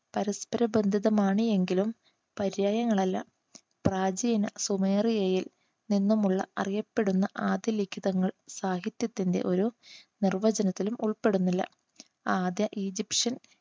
പരസ്പരബന്ധിതമാണ് എങ്കിലും പര്യായങ്ങളല്ല. പ്രാചീന സുമേറിയയിൽ നിന്നും ഉള്ള അറിയപ്പെടുന്ന ആദ്യ ലിഖിതങ്ങൾ സാഹിത്യത്തിൻറെ ഒരു നിർവചനത്തിലും ഉൾപ്പെടുന്നില്ല. ആദ്യ ഈജിപ്ഷ്യൻ